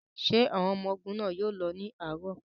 Ṣé àwọn ọmọ ogun náà yóò lọ ní àárọ̀?